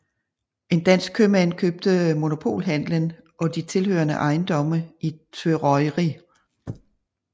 En dansk købmand købte monopolhandelen og de tilhørende ejendomme i Tvøroyri